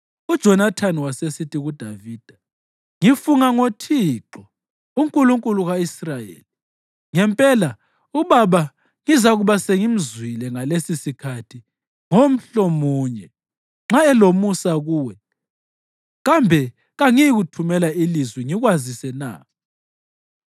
UJonathani wasesithi kuDavida, “Ngifunga ngoThixo, uNkulunkulu ka-Israyeli, ngempela ubaba ngizakuba sengimzwile ngalesisikhathi ngomhlomunye! Nxa elomusa kuwe, kambe kangiyikuthumela ilizwi ngikwazise na?